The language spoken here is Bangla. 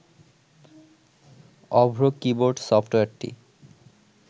অভ্র কীবোর্ড সফটওয়্যারটি